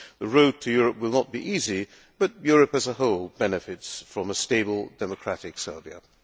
The road to Europe will not be easy, but Europe as a whole benefits from a stable, democratic Serbia.